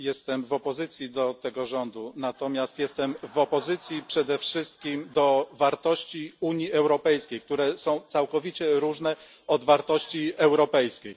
Jestem w opozycji do tego rządu, natomiast jestem w opozycji przede wszystkim do wartości Unii Europejskiej, które są całkowicie różne od wartości europejskich.